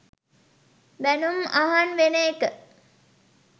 බැනුම් අහන් වෙන එක.